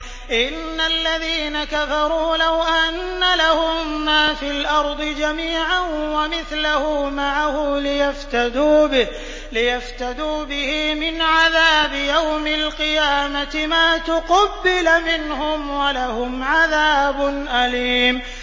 إِنَّ الَّذِينَ كَفَرُوا لَوْ أَنَّ لَهُم مَّا فِي الْأَرْضِ جَمِيعًا وَمِثْلَهُ مَعَهُ لِيَفْتَدُوا بِهِ مِنْ عَذَابِ يَوْمِ الْقِيَامَةِ مَا تُقُبِّلَ مِنْهُمْ ۖ وَلَهُمْ عَذَابٌ أَلِيمٌ